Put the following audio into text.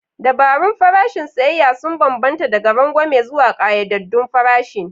Dabarun farashin siyayya sun bambanta daga rangwame zuwa ƙayyadaddun farashin.